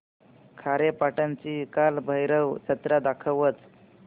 खारेपाटण ची कालभैरव जत्रा दाखवच